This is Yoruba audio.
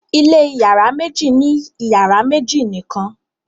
ilé iyàrá méjì ni iyàrá méjì nìkàn